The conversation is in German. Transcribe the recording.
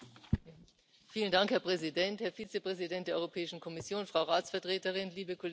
Herr Präsident, Herr Vizepräsident der Europäischen Kommission, Frau Ratsvertreterin, liebe Kolleginnen und Kollegen!